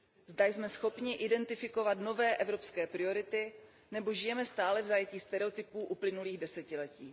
Zda jsme schopni identifikovat nové evropské priority nebo žijeme stále v zajetí stereotypů uplynulých desetiletí.